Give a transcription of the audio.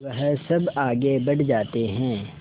वह सब आगे बढ़ जाते हैं